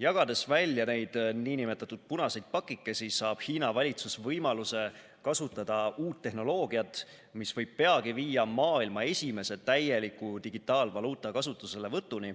Jagades välja neid nn punaseid pakikesi, saab Hiina valitsus võimaluse kasutada uut tehnoloogiat, mis võib peagi viia maailma esimese täieliku digitaalvaluuta kasutuselevõtuni